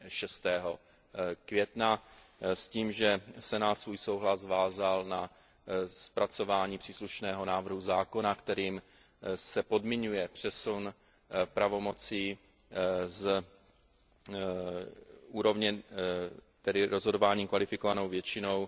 6. května s tím, že Senát svůj souhlas vázal na zpracování příslušného návrhu zákona, kterým se podmiňuje přesun pravomocí z úrovně, tedy rozhodování kvalifikovanou většinou,